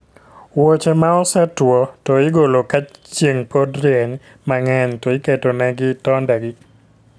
Wuoche ma osetuo to igolo ka chien pok orieny mang'eny to iketo ne gi tonde gi